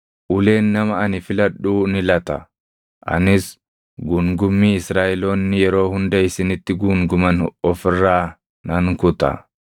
Uleen nama ani filadhuu ni lata; anis guungummii Israaʼeloonni yeroo hunda isinitti guunguman of irraa nan kuta.”